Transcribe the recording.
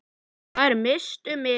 Þær misstu mikið.